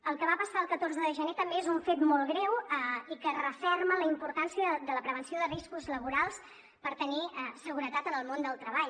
el que va passar el catorze de gener també és un fet molt greu i que referma la importància de la prevenció de riscos laborals per tenir seguretat en el món del treball